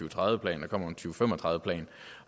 og tredive plan der kommer en to fem og tredive plan